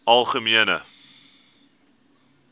algemene